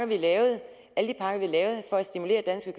vi lavede for at stimulere dansk